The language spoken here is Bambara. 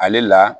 Ale la